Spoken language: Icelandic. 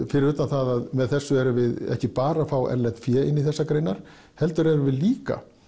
fyrir utan það að með þessu erum við ekki bara að fá erlent fé inn í þessar greinar heldur erum við líka